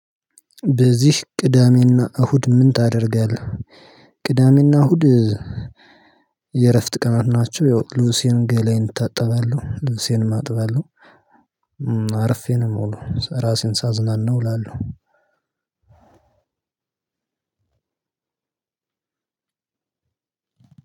በዚህ ቅዳሜ እና እሁድ ምን ታደርጋለህ? ቅዳሜ እና እሁድ የእረፍት ቀናት ናችው። ያው ልብሴን ገለየን እታጠባለሁ ልብሴንም አጥባለሁ። አርፌ ነው የምውለው ራሴን ሳዝናናው እላለሁ።